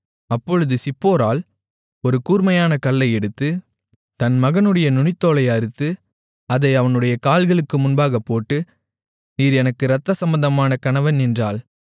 அப்பொழுது சிப்போராள் ஒரு கூர்மையான கல்லை எடுத்து தன் மகனுடைய நுனித்தோலை அறுத்து அதை அவனுடைய கால்களுக்கு முன்பாக போட்டு நீர் எனக்கு இரத்தசம்பந்தமான கணவன் என்றாள்